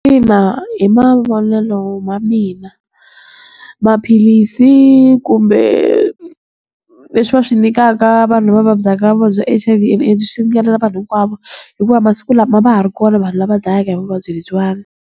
Ina, hi mavonelo ma mina, maphilisi kumbe leswi va swi nyikaka vanhu va vabyaka vuvabyi bya H_I_V and AIDS, swi ringanela vanhu hinkwavo. Hikuva masiku lama a va ha ri kona vanhu lava dlayaka hi vuvabyi lebyiwana.